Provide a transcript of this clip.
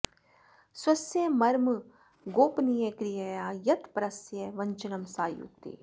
स्वस्य मर्मगोपनीय क्रियया यत् परस्य वञ्चनं सा युक्तिः